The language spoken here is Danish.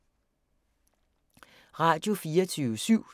Radio24syv